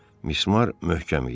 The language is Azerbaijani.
Mismar möhkəm idi.